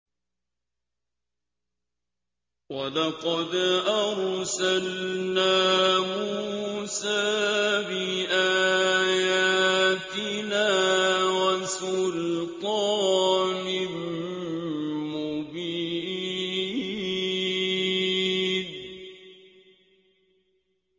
وَلَقَدْ أَرْسَلْنَا مُوسَىٰ بِآيَاتِنَا وَسُلْطَانٍ مُّبِينٍ